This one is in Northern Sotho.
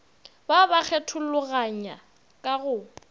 ba ba kgethologanya ka go